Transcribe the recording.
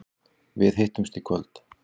Við hittumst í kvöld.